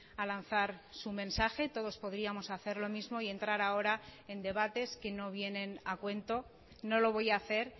a lanzar su mensaje todos podríamos hacer lo mismo y entrar ahora en debates que no vienen a cuento no lo voy a hacer